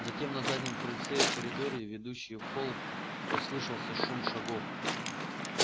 затем на заднем крыльце и в коридоре ведущем в холл послышался шум шагов